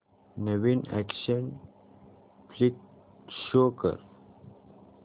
नवीन action flick show कर